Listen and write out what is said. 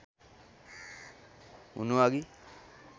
हुनु अघि